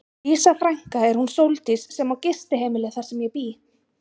Dísa frænka er hún Sóldís sem á gistiheimilið þar sem ég bý.